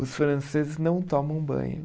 Os franceses não tomam banho.